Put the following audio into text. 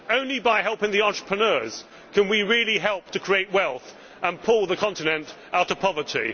Only by helping the entrepreneurs can we really help to create wealth and pull the continent out of poverty.